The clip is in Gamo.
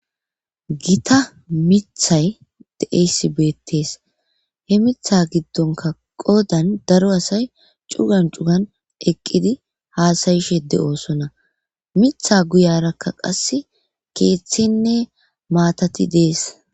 Gitta mithayi deyeyisi bettessi he mitha gidonikka qoddani corra assayi eqiddi hassayishe deyosona mitha guyara qassi kethatine mattati dessi